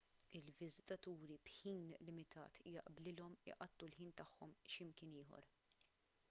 il-viżitaturi b'ħin limitat jaqblilhom iqattgħu il-ħin tagħhom x'imkien ieħor